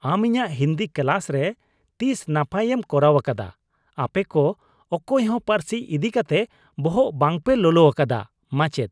ᱟᱢ ᱤᱧᱟᱜ ᱦᱤᱱᱫᱤ ᱠᱞᱟᱥ ᱨᱮ ᱛᱤᱥ ᱱᱟᱯᱟᱭᱮᱢ ᱠᱚᱨᱟᱣ ᱟᱠᱟᱫᱟ ? ᱟᱯᱮ ᱠᱚ ᱚᱠᱚᱭ ᱦᱚᱸ ᱯᱟᱹᱨᱥᱤ ᱤᱫᱤ ᱠᱟᱛᱮ ᱵᱚᱦᱚᱜ ᱵᱟᱝᱯᱮ ᱞᱚᱞᱚ ᱟᱠᱟᱫᱟ (ᱢᱟᱪᱮᱫ)